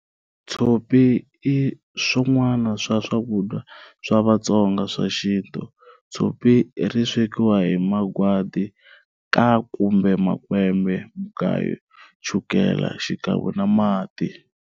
Tshopi i swan'wana swa swakudya swa Vatsonga swa xinto, Tshopi ri swekiwa hi Magwadi kumbe makwembe, mugayu, chukele xikan'we na mati.